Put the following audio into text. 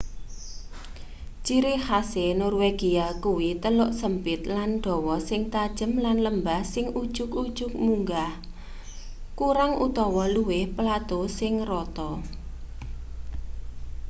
ciri khase norwegia kuwi teluk sempit lan dawa sing tajem lan lembah sing ujug-ujug munggah kurang utawa luwih plato sing rata